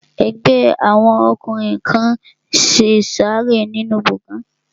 Ẹgbẹ́ àwọn ọkùnrin kan n ṣe ìsàrẹ́ nínu gbọgán